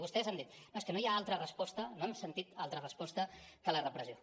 vostès han dit no és que no hi ha altra resposta no hem sentit altra respos·ta que la repressió